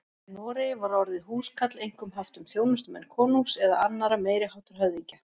Í Noregi var orðið húskarl einkum haft um þjónustumenn konungs eða annarra meiri háttar höfðingja.